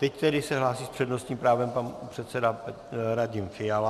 Teď tedy se hlásí s přednostním právem pan předseda Radim Fiala.